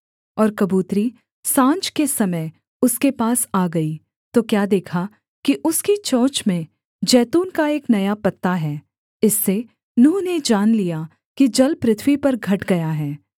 और कबूतरी साँझ के समय उसके पास आ गई तो क्या देखा कि उसकी चोंच में जैतून का एक नया पत्ता है इससे नूह ने जान लिया कि जल पृथ्वी पर घट गया है